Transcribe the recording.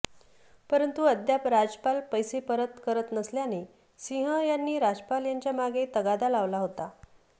परंतु अद्याप राजपाल पैसे परत करत नसल्याने सिंह यांनी राजपाल यांच्या मागे तगादा लावला होता